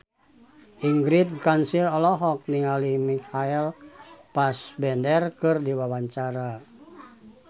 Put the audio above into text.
Ingrid Kansil olohok ningali Michael Fassbender keur diwawancara